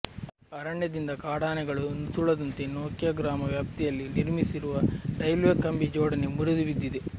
ಅರಣ್ಯದಿಂದ ಕಾಡಾನೆಗಳು ನುಸುಳದಂತೆ ನೊಕ್ಯ ಗ್ರಾಮ ವ್ಯಾಪ್ತಿಯಲ್ಲಿ ನಿರ್ಮಿಸಿರುವ ರೈಲ್ವೆಕಂಬಿ ಜೋಡಣೆ ಮುರಿದು ಬಿದ್ದಿದೆ